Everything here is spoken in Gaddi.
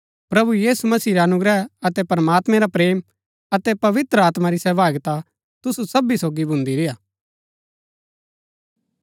प्रभु यीशु मसीह रा अनुग्रह अतै प्रमात्मैं रा प्रेम अतै पवित्र आत्मा री सहभागिता तुसु सबी सोगी भून्दी रेय्आ